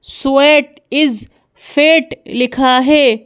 Sweat is fat लिखा है।